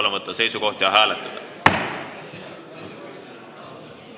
Palun võtta seisukoht ja hääletada!